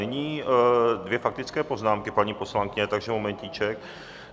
Nyní dvě faktické poznámky, paní poslankyně, takže momentíček.